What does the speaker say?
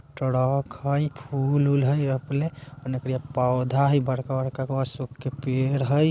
फूल उल हई रोपले ओन्ने करिया पौधा हई बड़का बड़का अशोक के पेड़ हई।